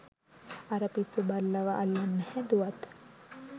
අර පිස්සු බල්ලව අල්ලන්න හැදුවත්